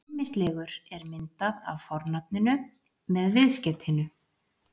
Ýmislegur er myndað af fornafninu með viðskeytinu-